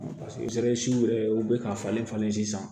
yɛrɛ u bɛ ka falen falen sisan